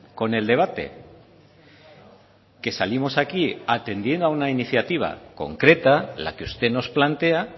con el debate que salimos aquí atendiendo a una iniciativa concreta la que usted nos plantea